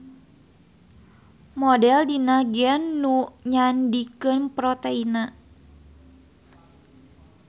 Model dina gen nu nyandikeun proteinna.